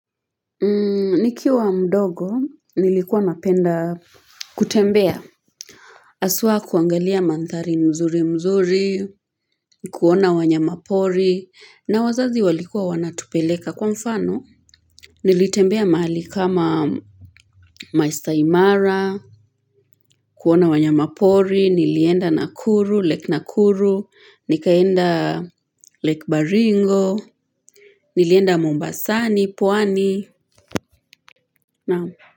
Nikiwa mdogo, nilikuwa napenda kutembea, asuwa kuangalia mantari mzuri mzuri, kuona wanyamapori, na wazazi walikuwa wanatupeleka kwa mfano, nilitembea mahali kama maesta imara, kuona wanya mapori, nilienda nakuru, lake nakuru, nikaenda lake Baringo, nilienda Mombasani, pwani, na.